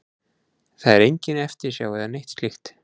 Það er engin eftirsjá eða neitt slíkt.